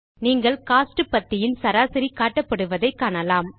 நீங்கள் கோஸ்ட் பத்தியின் சராசரி காட்டப்படுவதை காணலாம்